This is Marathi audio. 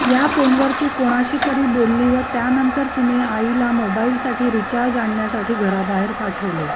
या फोनवर ती कोणाशी तरी बोलली व त्यानंतर तिने आईला मोबाईलसाठी रिचार्ज आणण्यासाठी घराबाहेर पाठवले